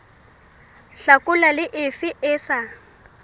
hlakola le efe e sa